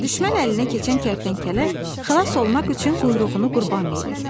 Düşmən əlinə keçən kərtənkələ xilas olmaq üçün quyruğunu qurban verir.